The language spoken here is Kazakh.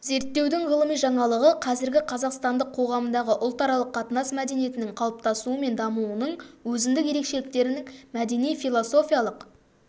зертеудің ғылыми жаңалығы қазіргі қазақстандық қоғамдағы ұлтаралық қатынас мәдениетінің қалыптасуы мен дамуының өзіндік ерекшеліктерін мәдени-философиялық